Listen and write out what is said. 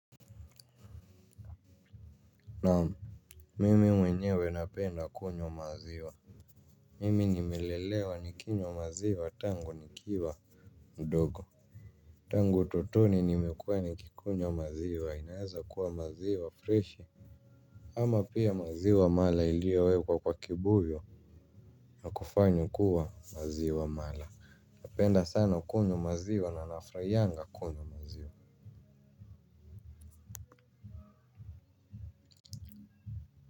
Naam. Mimi mwenyewe napenda kunywa maziwa. Mimi nimelelewa nikinywa maziwa tangu nikiwa mdogo tangu utotoni nimekuwa nikikunywa maziwa inaweza kuwa ni maziwa freshi. Ama pia maziwa mala iliowekwa kwa kibuyu na kufanywa kuwa maziwa mala. Napenda sana kunywa maziwa na nafurahianga kunywa maziwa.